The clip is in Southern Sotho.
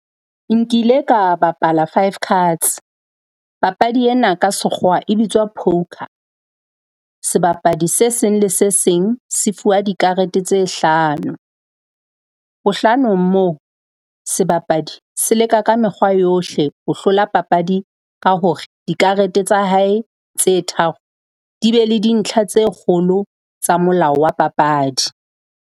Nkile ka bapala five cards. Papadi ena ka Sekgowa e bitswa poker. Sebapadi se seng le se seng se fuwa dikarete tse hlano. Bohlanong moo sebapadi se leka ka mekgwa yohle ho hlola papadi ka hore dikarete tsa hae tse tharo di be le dintlha tse kgolo tsa molao wa papadi.